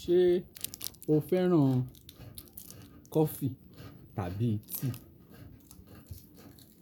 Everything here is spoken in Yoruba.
Ṣé o fẹ́ràn kọfí tàbí tíì?